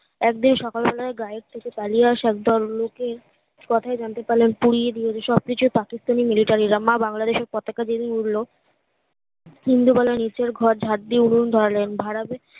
একদিন সকাল বেলায় গায়ের থেকে পালিয়ে আসা একদল লোকের কথায় জানতে পারলাম পুড়িয়ে দিয়েছে সব কিছু পাকিস্তানি মিলিটারিরা মা বাংলাদেশের পতাকা যেদিন উড়লো হিন্দু বলয়ে নিচের ঘরে ঝাড় দিয়ে উনুন ধরালেন বাড়াবে